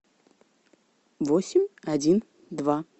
восемь один два